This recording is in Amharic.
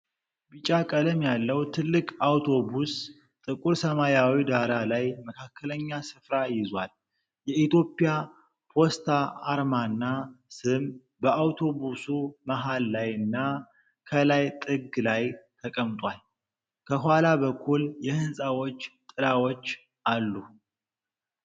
ቢጫ ቀለም ያለው ትልቅ አውቶቡስ ጥቁር ሰማያዊ ዳራ ላይ መካከለኛ ስፍራ ይዟል። የኢትዮጵያ ፖስታ አርማና ስም በአውቶቡሱ መሃል ላይና ከላይ ጥግ ላይ ተቀምጧል። ከኋላ በኩል የህንጻዎች ጥላዎች አሉ።